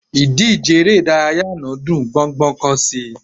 Ìdíje eré ìdárayá àná dùn gbọ́ngbọ́n kán sí i